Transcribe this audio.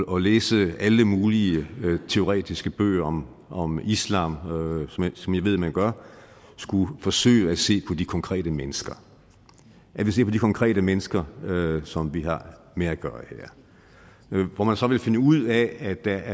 og læse alle mulige teoretiske bøger om om islam som jeg ved man gør skulle forsøge at se på de konkrete mennesker konkrete mennesker som vi har med at gøre her hvor man så vil finde ud af at der